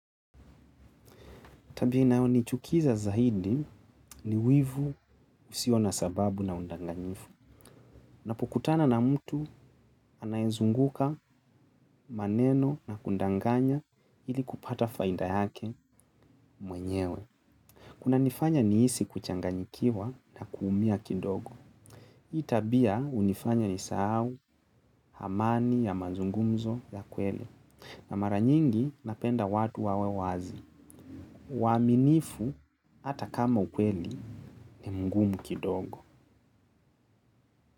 Tabia inayonichukiza zaidi ni wivu usio na sababu na udanganyifu. Napokutana na mtu anayenizunguka, maneno na kunidanganya ili kupata faida yake mwenyewe. Kunanifanya nihisi kuchanganyikiwa na kuumia kidogo. Hii tabia hunifanya nisahau amani ya mazungumzo ya kweli. Na mara nyingi napenda watu wawe wazi. Waaminifu hata kama ukweli ni mgumu kidogo.